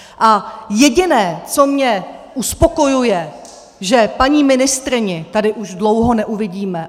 A jediné, co mě uspokojuje, že paní ministryni tady už dlouho neuvidíme.